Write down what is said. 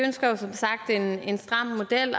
ønsker som sagt en en stram model